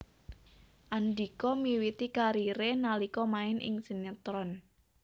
Andhika miwiti kariré nalika main ing sinétron